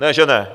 Ne že ne.